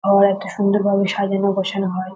হল একটা সুন্দর ভাবে সাজানো গোছানো হয়।